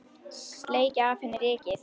Sleikja af henni rykið.